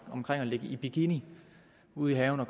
om at ligge i bikini ude i haven og